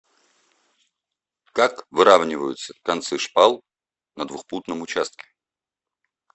как выравниваются концы шпал на двухпутном участке